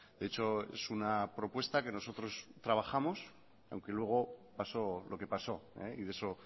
de hecho es una propuesta que nosotros trabajamos aunque luego pasó lo que pasó y de eso